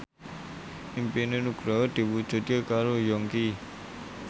impine Nugroho diwujudke karo Yongki